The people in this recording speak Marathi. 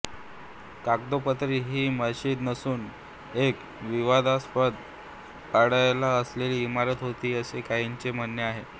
कागदोपत्री ही मशीद नसून एक विवादास्पद पडायला आलेली इमारत होती असे काहींचे म्हणणे आहे